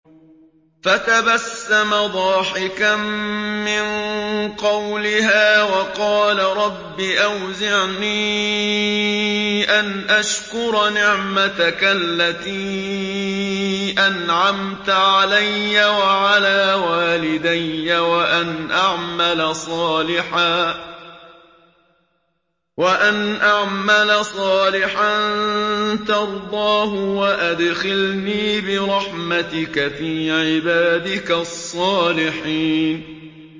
فَتَبَسَّمَ ضَاحِكًا مِّن قَوْلِهَا وَقَالَ رَبِّ أَوْزِعْنِي أَنْ أَشْكُرَ نِعْمَتَكَ الَّتِي أَنْعَمْتَ عَلَيَّ وَعَلَىٰ وَالِدَيَّ وَأَنْ أَعْمَلَ صَالِحًا تَرْضَاهُ وَأَدْخِلْنِي بِرَحْمَتِكَ فِي عِبَادِكَ الصَّالِحِينَ